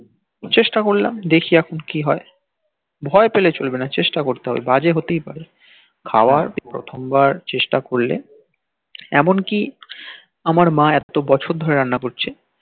চেষ্টা করলাম দেখি এখন কি হই ভই পেলে চলবে না চেষ্টা করতে হবে বা যে হতে পারে খাওয়া প্রথম বার চেষ্টা করলে এমন কি আমার মা এতো বছর ধরে রান্না করছে